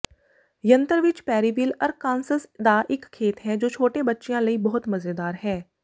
ਯੰਤਰ ਵਿਚ Perryville Arkansas ਦਾ ਇੱਕ ਖੇਤ ਹੈ ਜੋ ਛੋਟੇ ਬੱਚਿਆਂ ਲਈ ਬਹੁਤ ਮਜ਼ੇਦਾਰ ਹੈ